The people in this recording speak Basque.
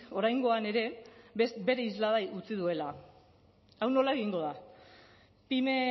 oraingoan ere bere islada utzi duela hau nola egingo da pyme